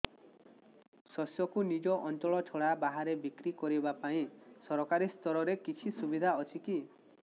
ଶସ୍ୟକୁ ନିଜ ଅଞ୍ଚଳ ଛଡା ବାହାରେ ବିକ୍ରି କରିବା ପାଇଁ ସରକାରୀ ସ୍ତରରେ କିଛି ସୁବିଧା ଅଛି କି